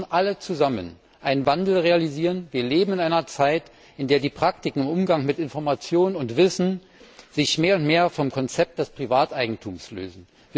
Wir müssen alle zusammen einen Wandel realisieren. Wir leben in einer Zeit, in der die Praktiken im Umgang mit Information und Wissen sich mehr und mehr vom Konzept des Privateigentums lösen.